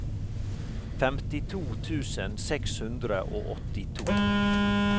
femtito tusen seks hundre og åttito